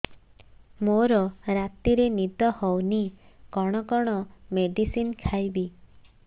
ମୋର ରାତିରେ ନିଦ ହଉନି କଣ କଣ ମେଡିସିନ ଖାଇବି